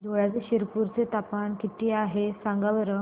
धुळ्याच्या शिरपूर चे तापमान किता आहे सांगा बरं